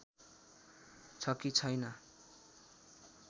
छ कि छैन